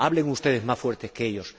Hablen ustedes más fuerte que ellos.